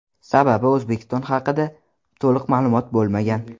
Sababi, O‘zbekiston haqida to‘liq ma’lumot bo‘lmagan.